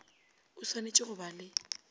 o swanetše go ba le